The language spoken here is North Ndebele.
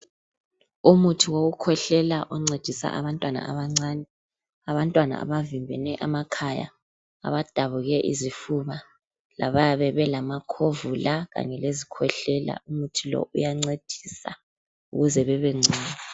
Umuthi wokukhwehlela oncedisa abantwana abancani . Abantwana abavimbene amakhaya ,abadabuke izifuba, labayabe belamakhovula Kanye lezikhwehlela .Umuthi lo iyancedisa ukuze bebengcono.